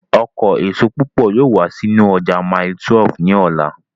Ọkọ èso púpọ̀ yóò wá sínú ọjà mile 12 ní ọ̀la